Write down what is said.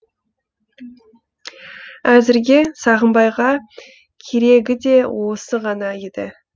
әзірге сағымбайға керегі де осы ғана еді